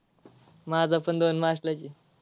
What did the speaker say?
माझा पण दोन मार्चलाच आहे.